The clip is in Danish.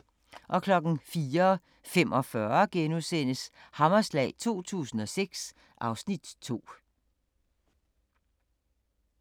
04:45: Hammerslag 2006 (Afs. 2)*